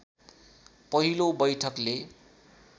पहिलो बैठकले